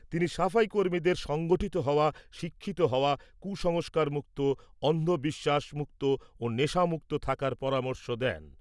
তিনি সাফাই কর্মীদের সংগঠিত হওয়া, শিক্ষিত হওয়া, কুসংস্কার মুক্ত, অন্ধ বিশ্বাস মুক্ত ও নেশামুক্ত থাকার পরামর্শ দেন।